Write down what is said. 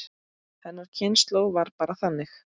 Hennar kynslóð var bara þannig.